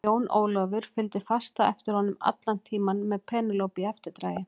Jón Ólafur fylgdi fast á eftir honum allan tímann með Penélope í eftirdragi.